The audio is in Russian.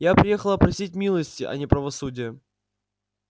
я приехала просить милости а не правосудия